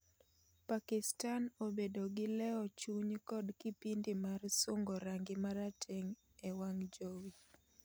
Pakistan obedo gi leo chuny kod kipindi mar sungo rangi marateng' e wang' jowi